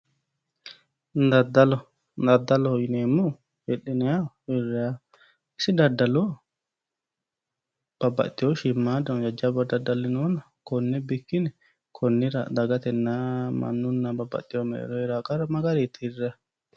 Daddalo daddaloho yineemmohu hidhinayiho hirrayiho isi daddalo babbaxxitino shiimmaffano jajjabba daddali noona konne bikkine dagatenna babbaxxeho mannu mereero heeranno qarra mayi garinni tirrayi?